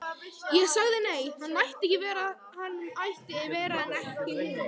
Ég sagði nei, hann mætti vera en ekki hún.